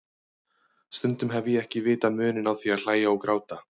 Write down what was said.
Stundum hef ég ekki vitað muninn á því að hlæja og gráta.